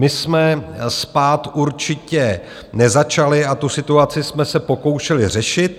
My jsme spát určitě nezačali a tu situaci jsme se pokoušeli řešit.